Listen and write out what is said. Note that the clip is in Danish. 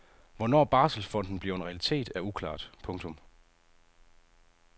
Hvornår barselsfonden bliver en realitet er uklart. punktum